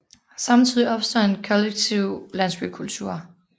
Samtidigt opstod der en kollektiv landsbykultur